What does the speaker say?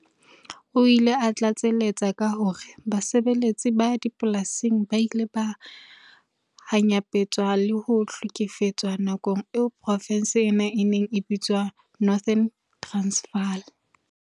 O ile a tlatsaletsa ka hore basebetsi ba dipolasing ba ile ba hanyapetswa le ho hle-kefetswa nakong eo profense ena e neng e bitswa Northern Transvaal